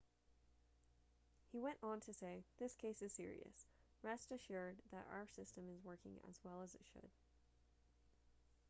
he went on to say this case is serious rest assured that our system is working as well as it should